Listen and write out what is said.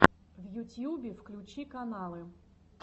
в ютьюбе включи каналы